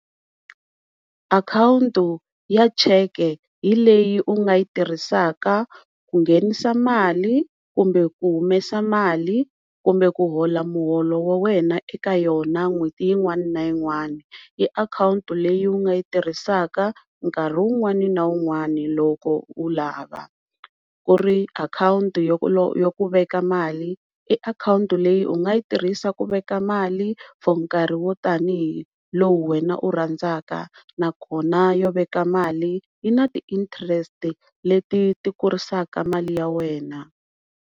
Akhawunti ya cheke hi leyi u nga yi tirhisaka ku nghenisa mali kumbe ku humesa mali kumbe ku hola muholo wa wena eka yona n'hweti yin'wani na yin'wana, i akhawunti leyi u nga yi tirhisaka nkarhi wun'wani na wun'wana loko u lava, ku ri akhawunti ya ku veka mali i akhawunti leyi u nga yi tirhisa ku veka mali for nkarhi wo tanihi lowu wena u rhandzaka nakona yo veka mali yi na ti-interest leti ti kurisaka mali ya wena.